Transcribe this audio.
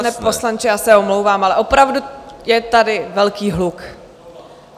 Pane poslanče, já se omlouvám, ale opravdu je tady velký hluk.